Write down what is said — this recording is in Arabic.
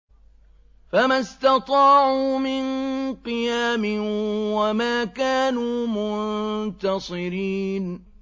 فَمَا اسْتَطَاعُوا مِن قِيَامٍ وَمَا كَانُوا مُنتَصِرِينَ